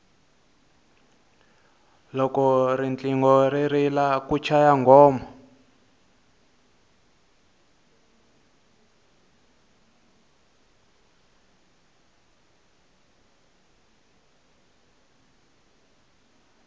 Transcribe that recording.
loko riqingho ri rila ku chaya nghoma